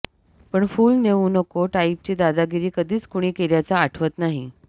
पण फूल नेऊ नको टाइपची दादागिरी कधीच कुणी केल्याचं आठवत नाही